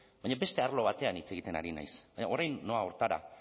baina beste arlo batean hitz egiten ari naiz orain noa horretara